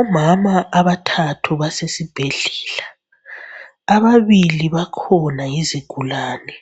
Omama abathathu basesibhedlela, ababili bakhona yizigulane,